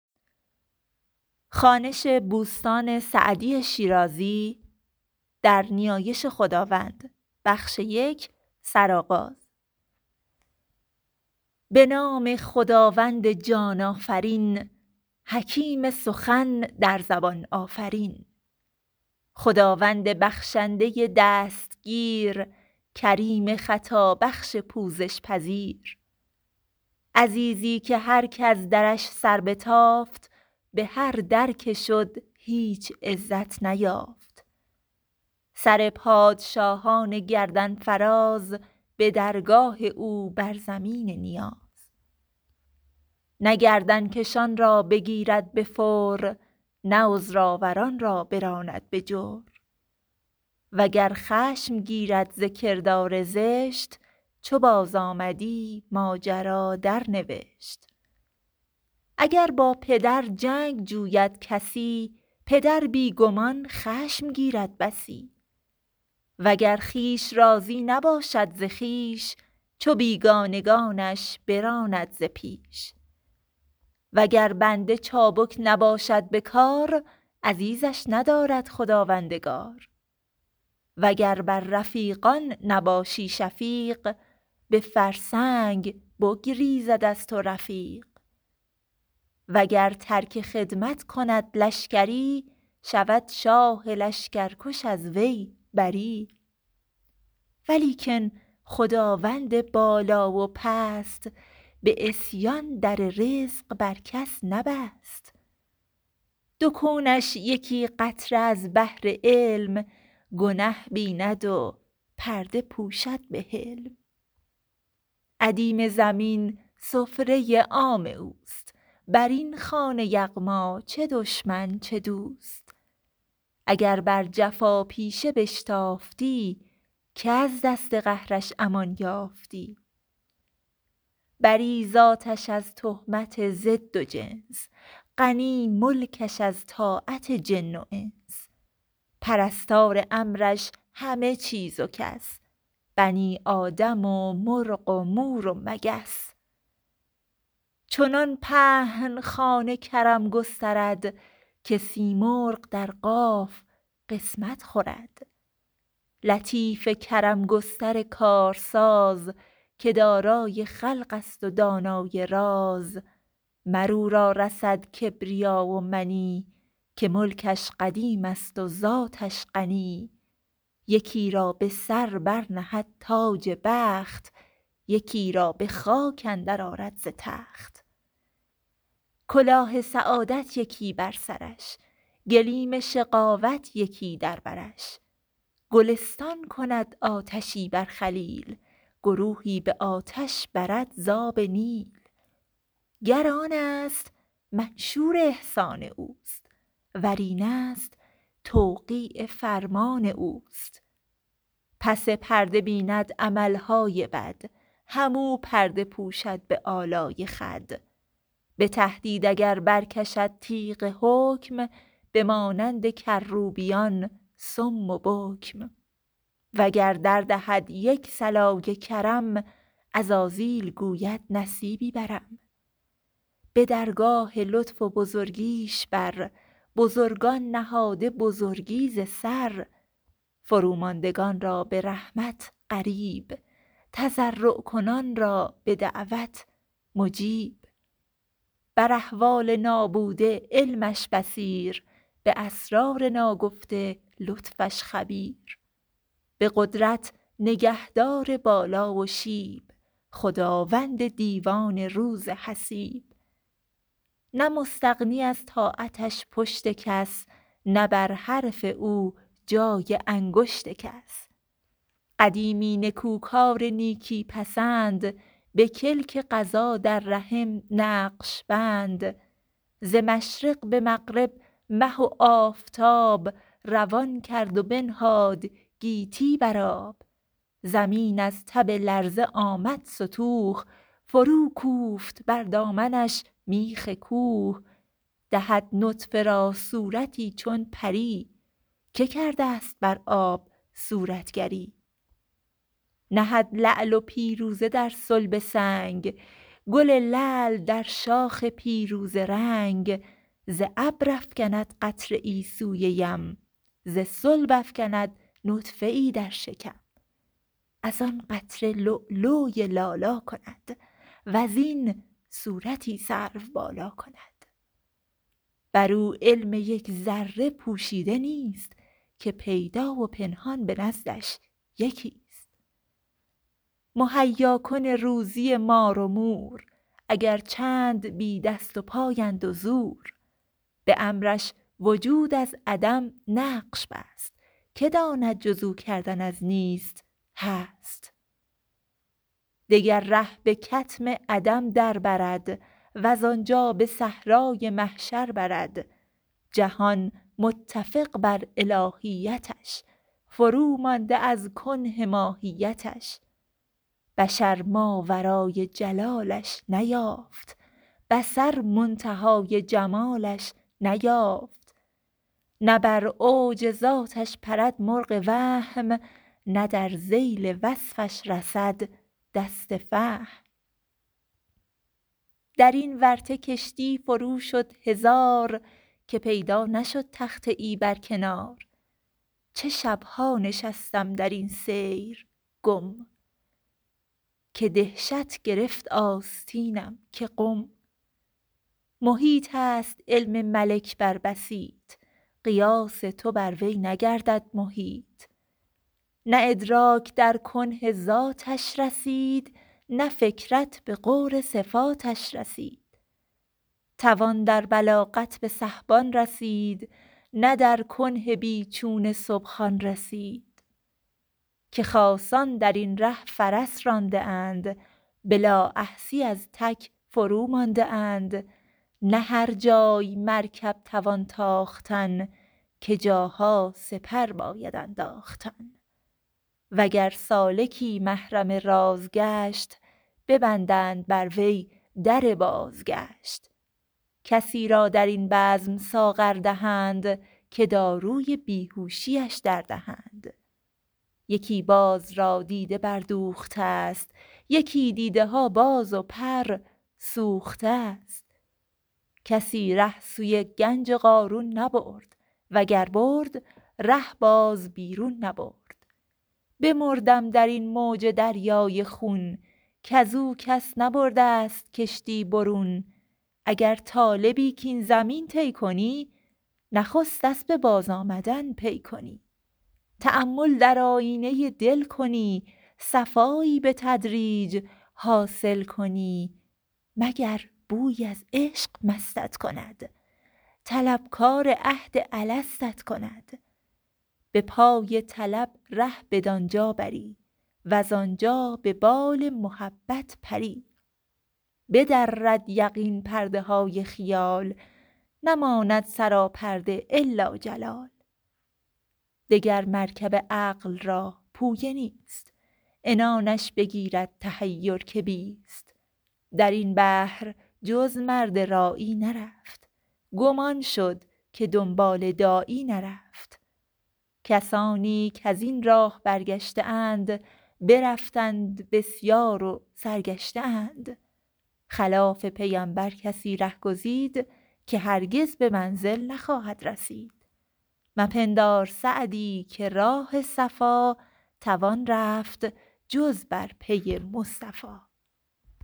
به نام خداوند جان آفرین حکیم سخن در زبان آفرین خداوند بخشنده دستگیر کریم خطابخش پوزش پذیر عزیزی که هر کز درش سر بتافت به هر در که شد هیچ عزت نیافت سر پادشاهان گردن فراز به درگاه او بر زمین نیاز نه گردن کشان را بگیرد به فور نه عذرآوران را براند به جور وگر خشم گیرد ز کردار زشت چو بازآمدی ماجرا درنوشت اگر با پدر جنگ جوید کسی پدر بی گمان خشم گیرد بسی وگر خویش راضی نباشد ز خویش چو بیگانگانش براند ز پیش وگر بنده چابک نباشد به کار عزیزش ندارد خداوندگار وگر بر رفیقان نباشی شفیق به فرسنگ بگریزد از تو رفیق وگر ترک خدمت کند لشکری شود شاه لشکرکش از وی بری ولیکن خداوند بالا و پست به عصیان در رزق بر کس نبست دو کونش یکی قطره از بحر علم گنه بیند و پرده پوشد به حلم ادیم زمین سفره عام اوست بر این خوان یغما چه دشمن چه دوست اگر بر جفاپیشه بشتافتی که از دست قهرش امان یافتی بری ذاتش از تهمت ضد و جنس غنی ملکش از طاعت جن و انس پرستار امرش همه چیز و کس بنی آدم و مرغ و مور و مگس چنان پهن خوان کرم گسترد که سیمرغ در قاف قسمت خورد لطیف کرم گستر کارساز که دارای خلق است و دانای راز مر او را رسد کبریا و منی که ملکش قدیم است و ذاتش غنی یکی را به سر بر نهد تاج بخت یکی را به خاک اندر آرد ز تخت کلاه سعادت یکی بر سرش گلیم شقاوت یکی در برش گلستان کند آتشی بر خلیل گروهی به آتش برد ز آب نیل گر آن است منشور احسان اوست ور این است توقیع فرمان اوست پس پرده بیند عمل های بد هم او پرده پوشد به آلای خود به تهدید اگر برکشد تیغ حکم بمانند کروبیان صم و بکم وگر دردهد یک صلای کرم عزازیل گوید نصیبی برم به درگاه لطف و بزرگیش بر بزرگان نهاده بزرگی ز سر فروماندگان را به رحمت قریب تضرع کنان را به دعوت مجیب بر احوال نابوده علمش بصیر به اسرار ناگفته لطفش خبیر به قدرت نگهدار بالا و شیب خداوند دیوان روز حسیب نه مستغنی از طاعتش پشت کس نه بر حرف او جای انگشت کس قدیمی نکوکار نیکی پسند به کلک قضا در رحم نقش بند ز مشرق به مغرب مه و آفتاب روان کرد و بنهاد گیتی بر آب زمین از تب لرزه آمد ستوه فروکوفت بر دامنش میخ کوه دهد نطفه را صورتی چون پری که کرده ست بر آب صورتگری نهد لعل و پیروزه در صلب سنگ گل لعل در شاخ پیروزه رنگ ز ابر افکند قطره ای سوی یم ز صلب افکند نطفه ای در شکم از آن قطره لولوی لالا کند وز این صورتی سروبالا کند بر او علم یک ذره پوشیده نیست که پیدا و پنهان به نزدش یکی ست مهیاکن روزی مار و مور اگر چند بی دست وپای اند و زور به امرش وجود از عدم نقش بست که داند جز او کردن از نیست هست دگر ره به کتم عدم در برد وز آنجا به صحرای محشر برد جهان متفق بر الهیتش فرومانده از کنه ماهیتش بشر ماورای جلالش نیافت بصر منتهای جمالش نیافت نه بر اوج ذاتش پرد مرغ وهم نه در ذیل وصفش رسد دست فهم در این ورطه کشتی فرو شد هزار که پیدا نشد تخته ای بر کنار چه شب ها نشستم در این سیر گم که دهشت گرفت آستینم که قم محیط است علم ملک بر بسیط قیاس تو بر وی نگردد محیط نه ادراک در کنه ذاتش رسید نه فکرت به غور صفاتش رسید توان در بلاغت به سحبان رسید نه در کنه بی چون سبحان رسید که خاصان در این ره فرس رانده اند به لااحصیٖ از تک فرومانده اند نه هر جای مرکب توان تاختن که جاها سپر باید انداختن وگر سالکی محرم راز گشت ببندند بر وی در بازگشت کسی را در این بزم ساغر دهند که داروی بیهوشی اش دردهند یکی باز را دیده بردوخته ست یکی دیده ها باز و پر سوخته ست کسی ره سوی گنج قارون نبرد وگر برد ره باز بیرون نبرد بمردم در این موج دریای خون کز او کس نبرده ست کشتی برون اگر طالبی کاین زمین طی کنی نخست اسب بازآمدن پی کنی تأمل در آیینه دل کنی صفایی به تدریج حاصل کنی مگر بویی از عشق مستت کند طلبکار عهد الستت کند به پای طلب ره بدان جا بری وز آنجا به بال محبت پری بدرد یقین پرده های خیال نماند سراپرده إلا جلال دگر مرکب عقل را پویه نیست عنانش بگیرد تحیر که بیست در این بحر جز مرد راعی نرفت گم آن شد که دنبال داعی نرفت کسانی کز این راه برگشته اند برفتند بسیار و سرگشته اند خلاف پیمبر کسی ره گزید که هرگز به منزل نخواهد رسید مپندار سعدی که راه صفا توان رفت جز بر پی مصطفی